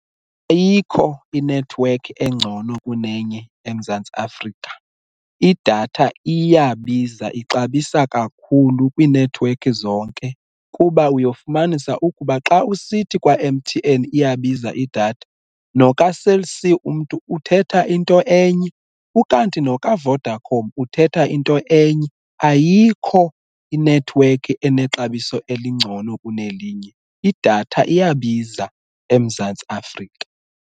Ayikho inethiwekhi engcono kunenye eMzantsi Afrika, idatha iyabiza ixabisa kakhulu kwiinethiwekhi zonke, kuba uyofumanisa ukuba xa usithi kwa-M_T_N iyabiza idatha nokaCell C umntu uthetha into enye. Ukanti nokaVodacom uthetha into enye. Ayikho inethiwekhi enexabiso elingcono kunelinye idatha iyabiza eMzantsi Afrika.